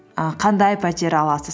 і қандай пәтер аласыз